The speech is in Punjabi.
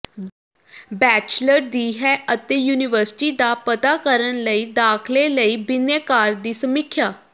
ਬੈਚਲਰ ਦੀ ਹੈ ਅਤੇ ਯੂਨੀਵਰਸਿਟੀ ਦਾ ਪਤਾ ਕਰਨ ਲਈ ਦਾਖਲੇ ਲਈ ਬਿਨੈਕਾਰ ਦੀ ਸਮੀਖਿਆ